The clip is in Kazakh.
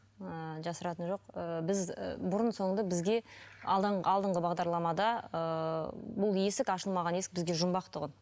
ыыы жасыратыны жоқ ыыы біз ы бұрын соңды бізге алдыңғы бағдарламада ыыы бұл есік ашылмаған есік бізге жұмбақ тұғын